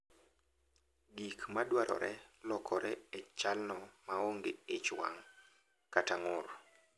Gik ma dwarore lokore e chalno maonge ich wang’ kata ng’ur.